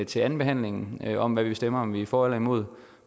til andenbehandlingen om hvad vi stemmer altså om vi er for eller imod